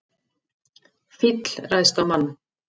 Fíll ræðst á mann